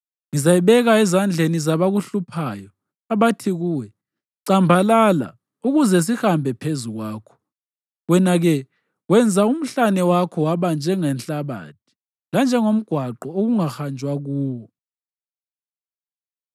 Ngizayibeka ezandleni zabakuhluphayo, abathi kuwe, ‘Cambalala ukuze sihambe phezu kwakho.’ Wena-ke wenza umhlane wakho waba njengenhlabathi, lanjengomgwaqo okungahanjwa kuwo.”